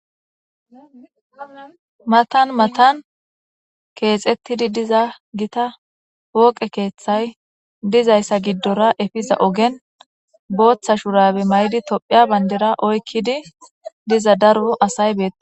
matan matan keexettidi diza gita wooqe keeththay dizayssa giddora efiza ogen booththa shurabe may7di tophiya bandera oykkidi diza darbo asay beea